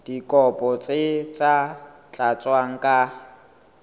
dikopo tse sa tlatswang ka